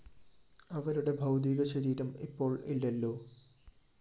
അവരുടെ ഭൗതീക ശരീരം ഇപ്പോള്‍ ഇല്ലല്ലോ